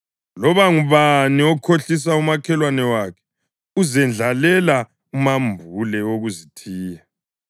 Loba ngubani okhohlisa umakhelwane wakhe uzendlalela umambule wokuzithiya.